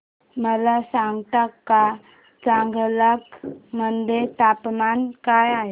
मला सांगता का चांगलांग मध्ये तापमान काय आहे